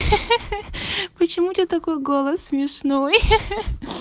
хе-хе почему у тебя такой голос смешной хе-хе